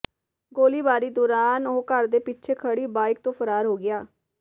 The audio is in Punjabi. ਗੋਲੀਬਾਰੀ ਦੌਰਾਨ ਉਹ ਘਰ ਦੇ ਪਿੱਛੇ ਖੜ੍ਹੀ ਬਾਈਕ ਤੋਂ ਫਰਾਰ ਹੋ ਗਿਆ